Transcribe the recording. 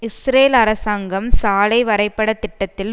Israel அரசாங்கம் சாலை வரைபட திட்டத்தில்